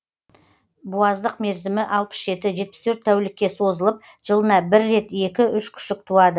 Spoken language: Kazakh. буаздық мерзімі алпыс жеті жетпіс төрт тәулікке созылып жылына бір рет екі үш күшік туады